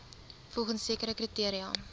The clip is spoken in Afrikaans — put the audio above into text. volgens sekere kriteria